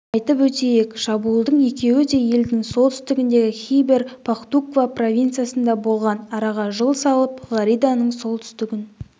айтып өтейік шабуылдың екеуі де елдің солтүстігіндегі хибер пахтуква провинциясында болған араға жыл салып флориданың солтүстігін